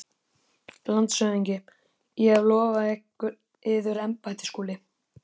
LANDSHÖFÐINGI: Ég hef lofað yður embætti, Skúli.